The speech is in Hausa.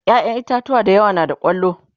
ƴaƴan itatauwa da yawa na da kwallo